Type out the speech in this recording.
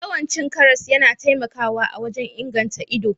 Yawan cin karas yana taimakawa wajen inganta ganin ido